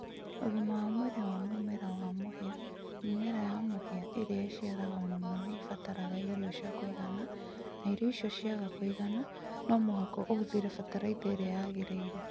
Ũgima wa mwĩrĩ na mumera wa mũhĩa Mĩmera ya mũhĩa ĩrĩa ĩciaraga mũno nĩ ĩbataraga irio cia kũigana na irio icio ciaga kũigana, no mũhaka ũhũthĩre fatalaitha ĩrĩa yagĩrĩire.